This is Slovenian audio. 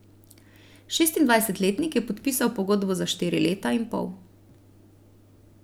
Šestindvajsetletnik je podpisal pogodbo za štiri leta in pol.